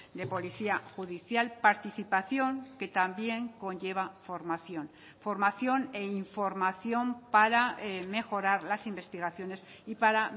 de policía judicial participación que también conlleva formación formación e información para mejorar las investigaciones y para